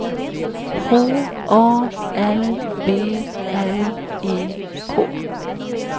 H A L V L E K